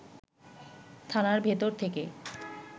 থানার ভেতর থেকে